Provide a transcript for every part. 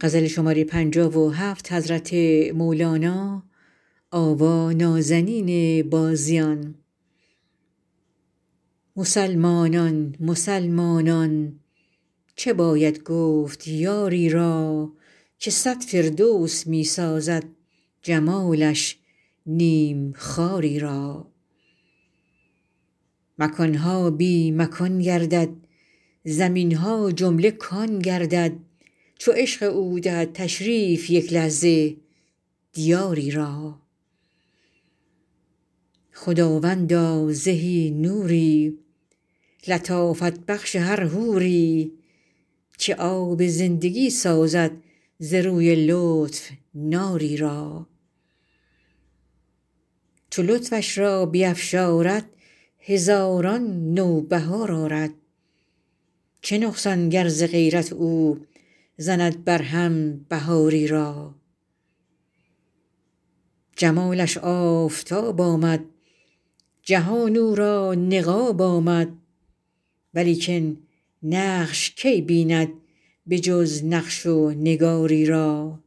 مسلمانان مسلمانان چه باید گفت یاری را که صد فردوس می سازد جمالش نیم خاری را مکان ها بی مکان گردد زمین ها جمله کان گردد چو عشق او دهد تشریف یک لحظه دیاری را خداوندا زهی نوری لطافت بخش هر حوری که آب زندگی سازد ز روی لطف ناری را چو لطفش را بیفشارد هزاران نوبهار آرد چه نقصان گر ز غیرت او زند برهم بهاری را جمالش آفتاب آمد جهان او را نقاب آمد ولیکن نقش کی بیند به جز نقش و نگاری را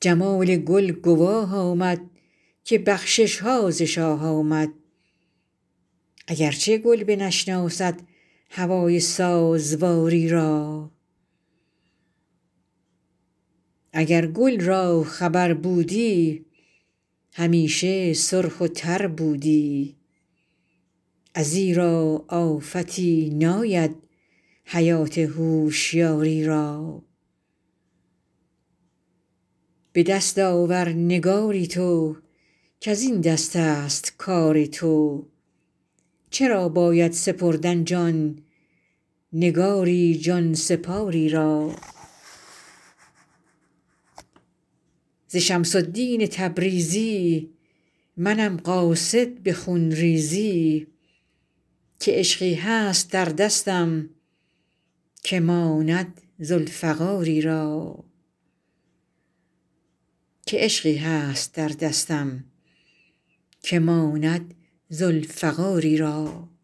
جمال گل گواه آمد که بخشش ها ز شاه آمد اگر چه گل بنشناسد هوای سازواری را اگر گل را خبر بودی همیشه سرخ و تر بودی ازیرا آفتی ناید حیات هوشیاری را به دست آور نگاری تو کز این دستست کار تو چرا باید سپردن جان نگاری جان سپار ی را ز شمس الدین تبریزی منم قاصد به خون ریزی که عشقی هست در دستم که ماند ذوالفقاری را